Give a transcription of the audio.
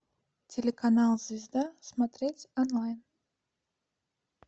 телеканал звезда смотреть онлайн